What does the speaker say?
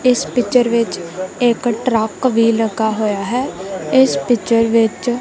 ਇੱਸ ਪਿਕਚਰ ਵਿੱਚ ਇੱਕ ਟਰੱਕ ਵੀ ਲੱਗਾ ਹੋਇਆ ਹੈ ਇੱਸ ਪਿਕਚਰ ਵਿੱਚ--